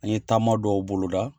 An ye taama dɔw boloda